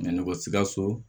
Nɛgɛ sikaso